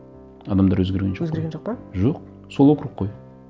адамдар өзгерген жоқ қой өзгерген жоқ па жоқ сол округ қой